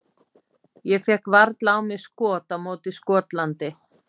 Ég fékk varla á mig skot á móti Skotlandi.